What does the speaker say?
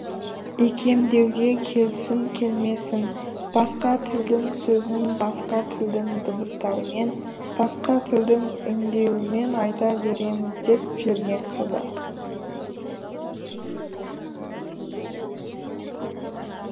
икемдеуге келсін келмесін басқа тілдің сөзін басқа тілдің дыбыстарымен басқа тілдің үндеуімен айта береміз деп жүрген қазақ